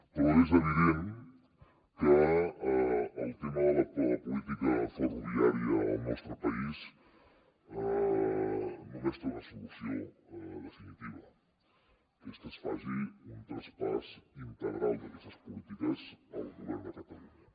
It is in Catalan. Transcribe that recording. però és evident que el tema de la política ferroviària al nostre país només té una solució definitiva que és que es faci un traspàs integral d’aquestes polítiques al govern de catalunya